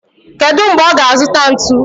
Kedu mgbe ọ ga-azụta ntu?